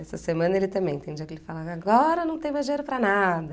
Essa semana ele também, tem dia que ele fala, agora não tem mais dinheiro para nada.